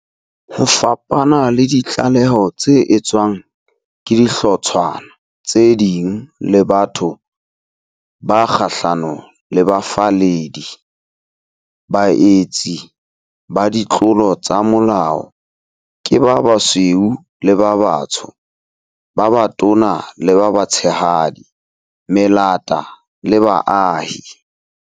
Ho fapana le ditlaleho tse etswang ke dihlotshwana tse ding le batho ba kgahlano le bafalledi, baetsi ba ditlolo tsa molao ke ba basweu le ba batsho, ba batona le ba batshehadi, melata le baahi.